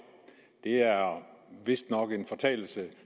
det er vist nok en fortalelse